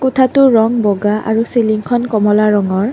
কোঠাটোৰ ৰং বগা আৰু চিলিংখন কমলা ৰঙৰ।